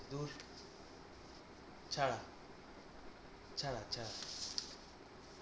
ছাড়া ছাড়া